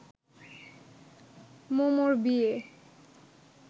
মম’র বিয়ে